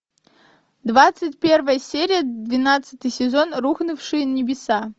двадцать первая серия двенадцатый сезон рухнувшие небеса